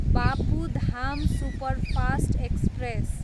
Bapu Dham superfast express